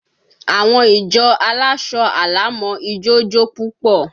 Àwọn ìjọ aláṣọ àlà mọ ijó jó púpọ̀